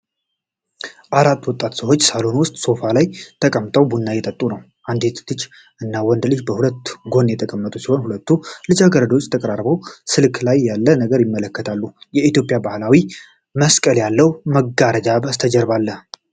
አራት ወጣት ሰዎች ሳሎን ውስጥ ሶፋ ላይ ተቀምጠው ቡና እየጠጡ ነው። አንዲት ልጅ እና ወንድ ልጅ በሁለት ጎን የተቀመጡት ሲሆን፣ ሁለቱ ልጃገረዶች ተቀራርበው ስልክ ላይ ያለ ነገር ይመለከታሉ። የኢትዮጵያ ባህላዊ መስቀል ያለው መጋረጃ ከበስተጀርባ አለ።